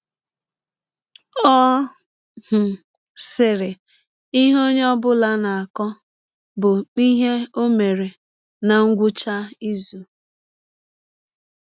Ọ um sịrị: “ Ihe ọnye ọ bụla na - akọ bụ ihe ọ mere ná ngwụcha izụ.